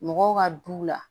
Mɔgɔw ka du la